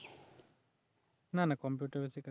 না না কম্পিউটার বেসই কাজ করি